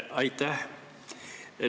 Aitäh!